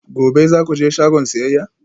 Gobe ​​za ku je shagon siyayya?